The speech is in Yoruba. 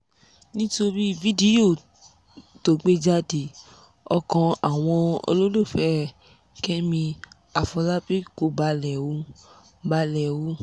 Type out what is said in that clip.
nítorí fídíò tó gbé jáde ọkàn àwọn olólùfẹ́ kẹ́mi àfọlábàbí kò balẹ̀ o balẹ̀ o